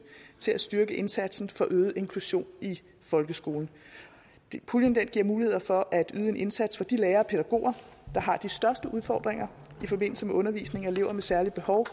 til at styrke indsatsen for øget inklusion i folkeskolen puljen giver muligheder for at yde en indsats for de lærere og pædagoger der har de største udfordringer i forbindelse med undervisning af elever med særlige behov